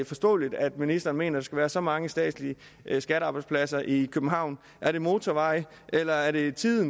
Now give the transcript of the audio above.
forståeligt at ministeren mener at der skal være så mange statslige skattearbejdspladser i københavn er det motorveje eller er det tid